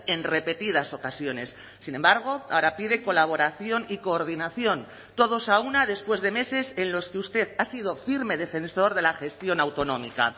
en repetidas ocasiones sin embargo ahora pide colaboración y coordinación todos a una después de meses en los que usted ha sido firme defensor de la gestión autonómica